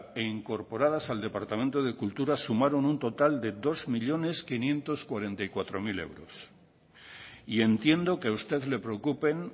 e incorporadas al departamento de cultura sumaron un total de dos millónes quinientos cuarenta y cuatro mil euros entiendo que a usted le preocupen